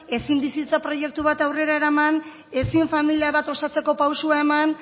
ezin bizitza proiektu bat aurrera eraman ezin familia bat osatzeko pausua eman